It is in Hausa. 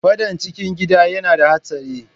Fadan cikin Gida yana da Hatsari.